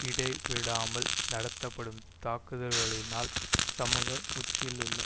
இடைவிடாமல் நடத்தப்படும் தாக்குதல்களினால் சமுக உச்சியிலுள்ள